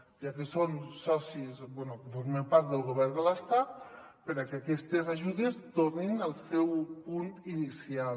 ja que són socis bé que formen part del govern de l’estat perquè aquestes ajudes tornin al seu punt inicial